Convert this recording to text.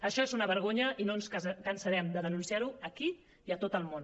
això és una vergonya i no ens cansarem de denunciar ho aquí i a tot el món